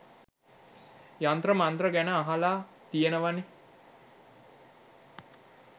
යන්ත්‍ර මන්ත්‍ර ගැන අහල තියෙනවනෙ